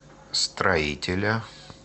строителя